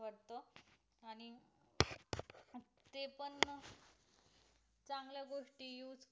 गोष्टी use